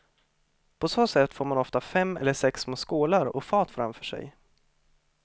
På så sätt får man ofta fem eller sex små skålar och fat framför sig.